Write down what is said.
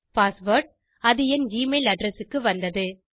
password அது என் email address க்கு வந்தது